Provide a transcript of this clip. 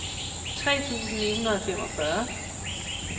tre tusind ni hundrede og femogfyrre